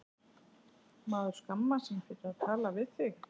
Maður skammast sín fyrir að tala við þig.